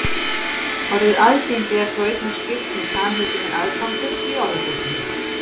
Orðið aðgengi er þó einnig skýrt með samheitinu aðgangur í orðabókinni.